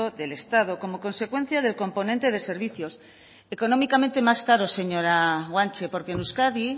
del estado como consecuencia del componente de servicios económicamente más caros señora guanche porque en euskadi